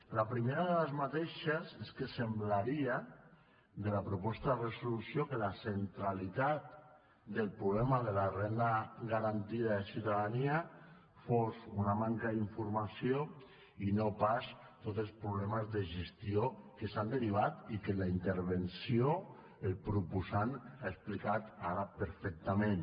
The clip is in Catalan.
la primera d’aquestes és que semblaria de la proposta de resolució que la centralitat del problema de la renda garantida de ciutadania fos una manca d’informació i no pas tots els problemes de gestió que s’han derivat i que en la intervenció el proposant ha explicat ara perfectament